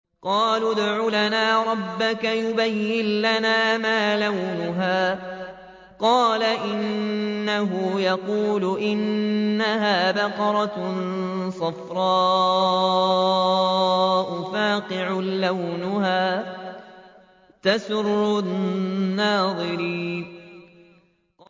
قَالُوا ادْعُ لَنَا رَبَّكَ يُبَيِّن لَّنَا مَا لَوْنُهَا ۚ قَالَ إِنَّهُ يَقُولُ إِنَّهَا بَقَرَةٌ صَفْرَاءُ فَاقِعٌ لَّوْنُهَا تَسُرُّ النَّاظِرِينَ